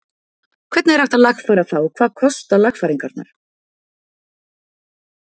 Hvernig er hægt að lagfæra það og hvað kosta lagfæringarnar?